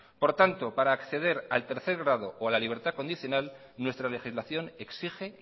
por tanto para acceder al tercer grado o a la libertad condicional nuestra legislación exige